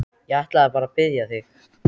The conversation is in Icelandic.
Mun útivallarmarkið reynast gulls ígildi?